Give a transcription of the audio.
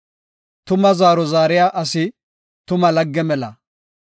Tuma zaaro zaariya asi, tuma lagge mela.